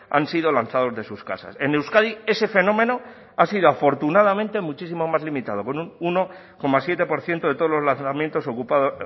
han sido lanzados de sus casas en euskadi ese fenómeno ha sido afortunadamente muchísimo más limitado con un uno coma siete por ciento de todos los lanzamientos